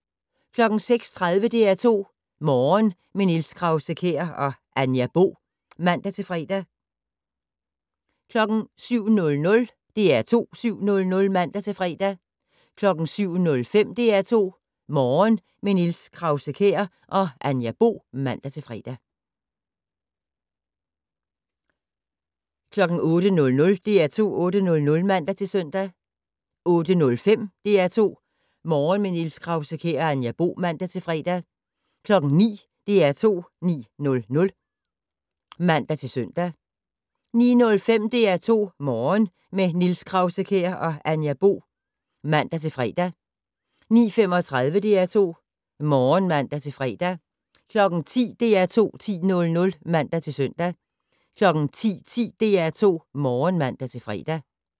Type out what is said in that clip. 06:30: DR2 Morgen - med Niels Krause-Kjær og Anja Bo (man-fre) 07:00: DR2 7:00 (man-fre) 07:05: DR2 Morgen - med Niels Krause-Kjær og Anja Bo (man-fre) 08:00: DR2 8:00 (man-søn) 08:05: DR2 Morgen - med Niels Krause-Kjær og Anja Bo (man-fre) 09:00: DR2 9:00 (man-søn) 09:05: DR2 Morgen - med Niels Krause-Kjær og Anja Bo (man-fre) 09:35: DR2 Morgen (man-fre) 10:00: DR2 10:00 (man-søn) 10:10: DR2 Morgen (man-fre)